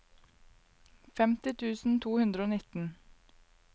femti tusen to hundre og nitten